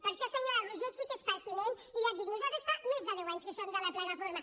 per això senyora roigé sí que és pertinent i ja ho dic nosaltres fa més de deu anys que som de la plataforma